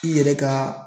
I yɛrɛ ka